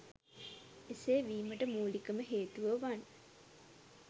එසේ වීමට මූලිකම හේතුව වන්